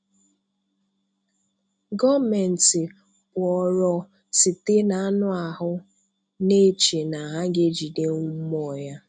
Gọọmenti kpụọrọ Site n'anụ ahụ na-eche na ha ga-ejidenwu mmụọ ya.